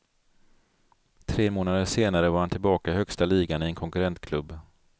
Tre månader senare var han tillbaka i högsta ligan i en konkurrentklubb.